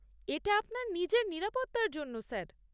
এটা আপনার নিজের নিরাপত্তার জন্য স্যার।